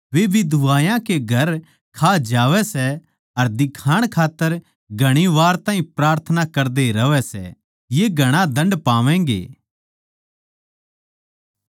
वे बिधवायाँ के घर खा जावै सै अर दिखाण खात्तर घणी वार ताहीं प्रार्थना करदे रहवै सै ये घणा दण्ड पावैगें